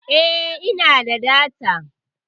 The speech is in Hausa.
Eh, ina da data.